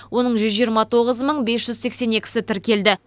оның жүз жиырма тоғыз мың бес жүз сексен екісі тіркелді